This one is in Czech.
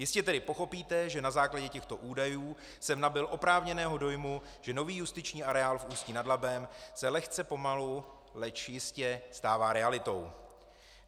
Jistě tedy pochopíte, že na základě těchto údajů jsem nabyl oprávněného dojmu, že nový justiční areál v Ústí nad Labem se lehce pomalu, leč jistě, stává realitou.